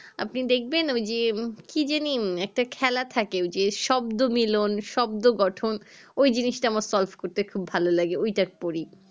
আপনি দেখবেন ওই যে কি জানি একটা খেলা থাকে ওই যে শব্দ মিলন শব্দ গঠন ওই জিনিস তা আমার solve করতে ভালো লাগে ওইটা পড়ি